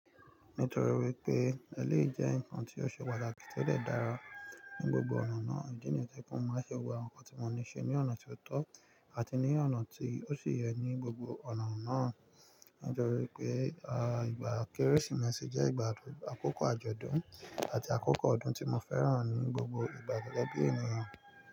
Nítorí wípé eléyìí jẹ́ ǹkan tí ó ṣe pàtàkì to dẹ dára ní gbogbo ọ̀nà náà, ìdí nìyẹn to jẹ pe mo máa ṣẹ́ gbogbo àwọn ǹkan tí mo ní ṣe ní ọ̀nà tí ó tọ́ àti ní ọ̀nà tí ó sì yẹ ní gbogbo ọ̀nà náà. Nítorí pé, à, ìgbà Kérésìmesì jẹ́ ìgbà àkọ́kọ́ àjọ̀dún àti àkọ́kọ́ ọdún tí mo fẹ́ràn ní gbogbo ìgbà gẹgẹ bí ènìyàn.